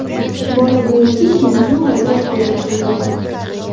Bola bo‘yniga kindigi o‘ralgan holda tug‘ilgan.